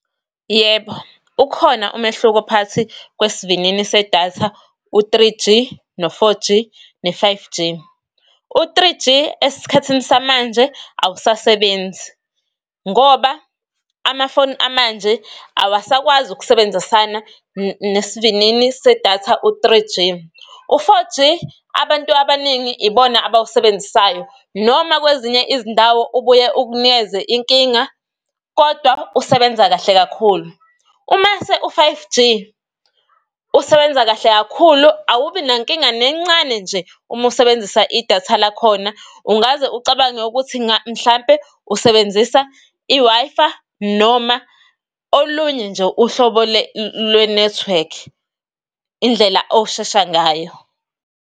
Yebo, ukhona umehluko phakathi kwesivinini se-datha u-three G, no-four G ne-five G. u-Three G esiskhathini samanje awusasebenzi, ngoba amafoni amanje awusakwazi ukusebenzisana nesivinini se-datha u-three G. U-four G, abantu abaningi ibona abawusebenzisayo, noma kwezinye izindawo ubuye ukunikeze inkinga, kodwa usebenza kahle kakhulu. Umase u-five G usebenza kahle kakhulu, awubi nankinga nencane nje uma usebenzisa idatha lakhona, ungaze ucabange ukuthi mhlawumbe usebenzisa i-Wi-Fi noma olunye nje uhlobo lwenethiwekhi, indlela oshesha ngayo.